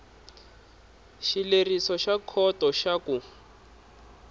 xileriso xa khoto xa ku